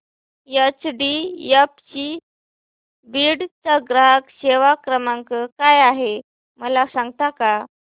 HDFC Beed चा ग्राहक सेवा क्रमांक काय आहे मला सांगता का